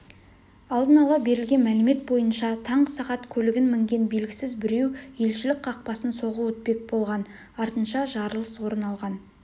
алдын ала берілген мәлімет бойынша таңғы сағат көлігін мінген белгісіз біреу елшілік қақпасын соғып өтпек болған артынша жарылыс орын алған